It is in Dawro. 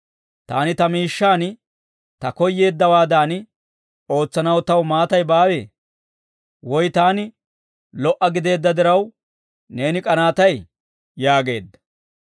Taani ta miishshaan ta koyyeeddawaadan ootsanaw taw maatay baawee? Woy taani lo"a gideedda diraw, neeni k'anaatay?› yaageedda.